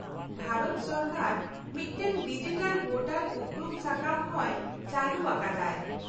-ᱵᱷᱟᱨᱚᱛ ᱥᱚᱨᱠᱟᱨ ᱢᱤᱫᱴᱟᱝ ᱰᱤᱡᱤᱴᱟᱞ ᱵᱷᱳᱴᱟᱨ ᱩᱯᱨᱩᱢ ᱥᱟᱠᱟᱢ ᱦᱚᱸᱭ ᱪᱟᱞᱩ ᱟᱠᱟᱫᱟᱭ ᱾